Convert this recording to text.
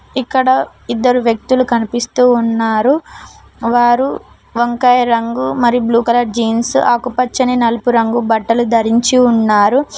ఇక్కడ ఇద్దరు వ్యక్తులు కనిపిస్తూ ఉన్నారు వారు వంకాయ రంగు మరి బ్లూ కలర్ జీన్స్ ఆకుపచ్చని నలుపు రంగు బట్టలు ధరించి ఉన్నారు.